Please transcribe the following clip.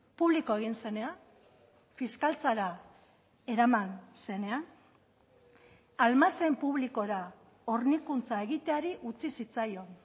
publiko egin zenean fiskaltzara eraman zenean almazen publikora hornikuntza egiteari utzi zitzaion